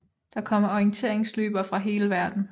Der kommer orienteringsløbere fra hele verden